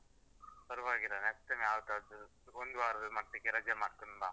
ಪರವಾಗಿಲ್ಲ next time ಯಾವತ್ತಾದ್ರೂ ಒಂದ್ ವಾರದ ಮಟ್ಟಿಗೆ ರಜೆ ಮಾಡ್ಕೊಂಡ್ ಬಾ.